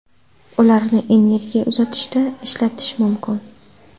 Ularni energiya uzatishda ishlatish mumkin.